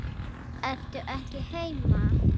Ertu ekki heima?